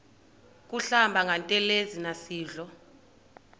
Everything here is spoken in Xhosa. kuhlamba ngantelezi nasidlo